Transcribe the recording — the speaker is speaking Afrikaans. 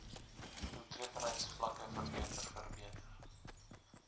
doeltreffendheidsvlakke verder verbeter